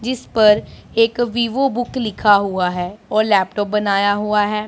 जिस पर एक विवो बुक लिखा हुआ है और लैपटॉप बनाया हुआ है।